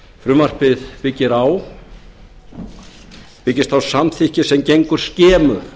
frumvarpið byggist á samþykki sem gengur skemur